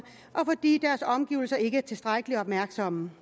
og omgivelser ikke er tilstrækkelig opmærksomme